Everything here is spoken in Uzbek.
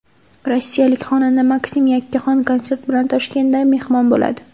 Rossiyalik xonanda MakSim yakkaxon konsert bilan Toshkentda mehmon bo‘ladi.